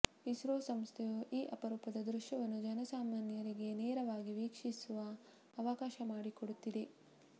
ಇಸ್ರೋ ಸಂಸ್ಥೆಯು ಈ ಅಪರೂಪದ ದೃಶ್ಯವನ್ನು ಜನಸಾಮಾನ್ಯರಿಗೆ ನೇರವಾಗಿ ವೀಕ್ಷಿಸುವ ಅವಕಾಶ ಮಾಡಿಕೊಡುತ್ತಿದೆ